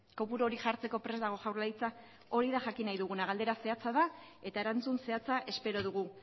kopuru hori jartzeko prest dago jaurlaritza hori da jakin nahi duguna galdera zehatza da eta erantzun zehatza espero dugu